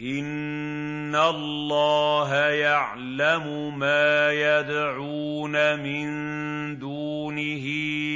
إِنَّ اللَّهَ يَعْلَمُ مَا يَدْعُونَ مِن دُونِهِ